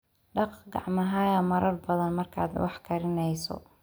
Dhaq gacmahaaga marar badan markaad wax karinayso.